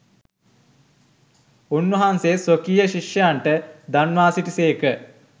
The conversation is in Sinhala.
උන්වහන්සේ ස්වකීය ශිෂ්‍යයන්ට දන්වා සිටි සේක.